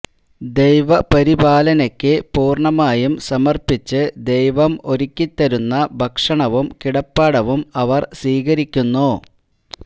ദൈവപരിപാലനയ്ക്ക് പൂര്ണമായും സമര്പ്പിച്ച് ദൈവം ഒരുക്കിത്തരുന്ന ഭക്ഷണവും കിടപ്പാടവും അവര് സ്വീകരിക്കുന്നു